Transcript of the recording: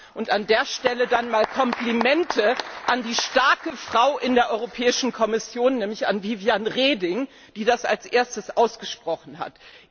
Und an dieser Stelle Komplimente an die starke Frau in der Europäischen Kommission, nämlich an Viviane Reding, die das als Erste ausgesprochen hat!